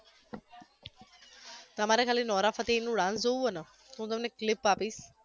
તમારે ખાલી નોરા ફતેહીનું dance જોવુ હોય ને તો હુ તમને clip આપીશ